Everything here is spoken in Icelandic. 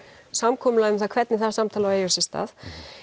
samkomulagi um það hvernig það samtal á að eiga sér stað